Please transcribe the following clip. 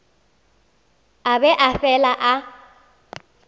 a be a fele a